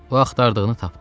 O axtardığını tapdı.